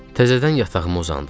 Təzədən yatağıma uzandım.